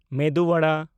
ᱢᱮᱫᱩ ᱣᱟᱲᱟ